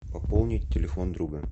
пополнить телефон друга